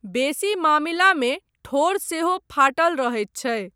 बेसी मामिलामे ठोढ़ सेहो फाटल रहैत छै।